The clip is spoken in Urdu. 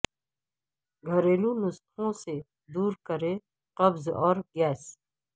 گھریلو نسخوں سے دور کریں قبض اور گیس